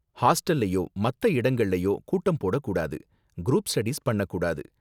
ஹாஸ்டல்லயோ, மத்த இடங்கள்லயோ கூட்டம் போடக் கூடாது, குரூப் ஸ்டடீஸ் பண்ணக் கூடாது.